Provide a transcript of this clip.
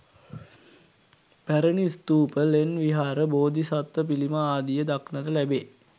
පැරණි, ස්ථූප ලෙන් විහාර බෝධි සත්ව පිළිම ආදිය දක්නට ලැබේ.